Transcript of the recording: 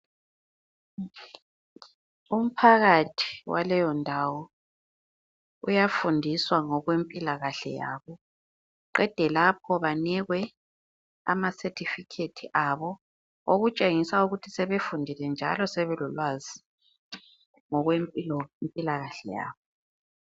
Umphakathi waleyondawo uyafundiswa ngokwempilakahle yabo, qede lapho banikwe amasethifikhethi abo okutshengisa ukuthi sebefundile njalo sebelolwazi ngokwempilakahle yabo.